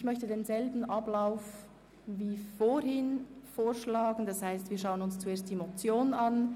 Ich schlage denselben Ablauf vor wie vorhin, das heisst, wir schauen uns zuerst die Motion an.